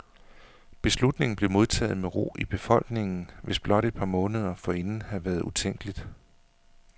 Beslutningen blev modtaget med ro i befolkningen, hvilket blot et par måneder forinden havde været utænkeligt.